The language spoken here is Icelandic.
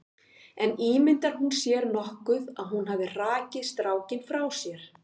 En ímyndar hún sér nokkuð að hún hafi hrakið strákinn frá sér?